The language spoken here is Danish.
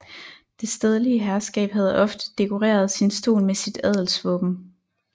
Det stedlige herskab havde ofte dekoreret sin stol med sit adelsvåben